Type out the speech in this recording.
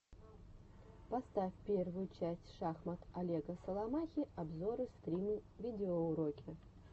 поставь первую часть шахмат олега соломахи обзоры стримы видеоуроки